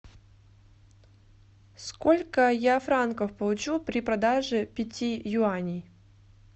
сколько я франков получу при продаже пяти юаней